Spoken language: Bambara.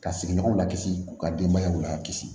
Ka sigiɲɔgɔnw lakisi k'u ka denbayaw lakisi